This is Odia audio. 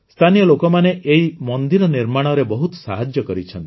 ସ୍ଥାନୀୟ ଲୋକମାନେ ଏହି ମନ୍ଦିର ନିର୍ମାଣରେ ବହୁତ ସାହାଯ୍ୟ କରିଛନ୍ତି